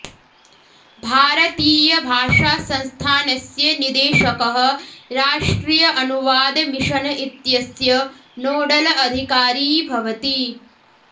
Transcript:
भारतीयभाषासंस्थानस्य निदेशकः राष्ट्रिय अनुवाद मिशन इत्यस्य नोडल अधिकारी भवति